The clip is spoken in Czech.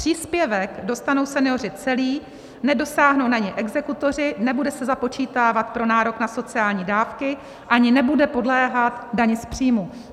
Příspěvek dostanou senioři celý, nedosáhnou na něj exekutoři, nebude se započítávat pro nárok na sociální dávky ani nebude podléhat dani z příjmu.